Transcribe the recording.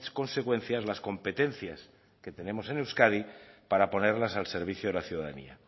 consecuencias las competencias que tenemos en euskadi para ponerlas al servicio de la ciudadanía